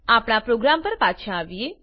આપણા પ્રોગ્રામ પર પાછા આવીએ